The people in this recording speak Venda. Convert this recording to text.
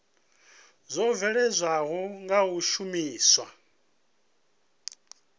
dzo bveledzwaho nga u shumiswa